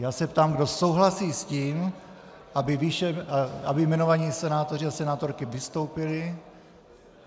Já se ptám, kdo souhlasí s tím, aby jmenovaní senátoři a senátorky vystoupili.